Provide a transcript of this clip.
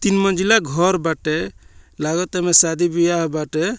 तीन मंजिला घोर बाटे लागता एमए शादी बियाह बाटे।